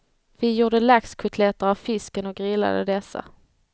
Vi gjorde laxkotletter av fisken och grillade dessa.